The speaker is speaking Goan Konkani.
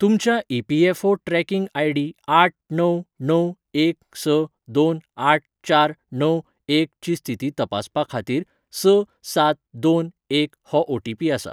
तुमच्या ईपीएफओ ट्रॅकिंग आयडी आठ णव णव एक स दोन आठ चार णव एक ची स्थिती तपासपा खाातीर स सात दोन एक हो ओटीपी आसा.